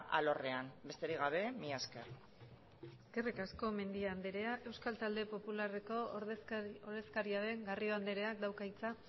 alorrean besterik gabe mila esker eskerrik asko mendia andrea euskal talde popularreko ordezkaria den garrido andreak dauka hitza